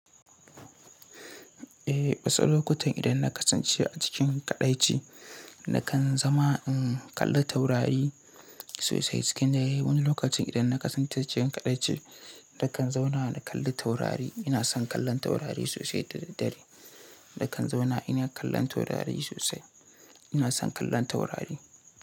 Eh, wasu lokutan idan na kasance a cikin kaɗaici nakan zama in kalli taurari sosai. Cikin dare wani lokacin idan na kasance cikin kaɗaici, na kan zauna na kalli taurari. Ina son kallon taurari sosai da daddare. Da kan zauna ina kallon taurari sosai. Ina son kallon taurari.